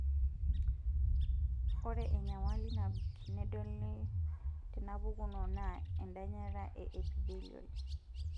Ore enyamali nabik nedoli tenapukuno naa endanyata e epithelial